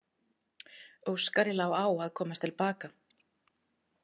Óskari lá á að komast til baka.